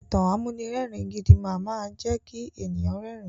Ìtàn amúnirẹ́ẹ̀rin gidi máama jẹ́ kí èèyàn rẹ́rin.